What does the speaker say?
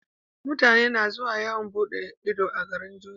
Mutane na zuwa yawan buɗe Ido a garin jordan